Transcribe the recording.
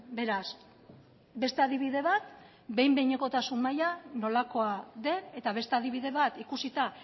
beraz beste adibide bat behin behinekotasun maila nolakoa den eta beste adibide bat ikusita